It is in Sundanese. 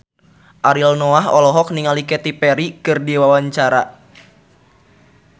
Ariel Noah olohok ningali Katy Perry keur diwawancara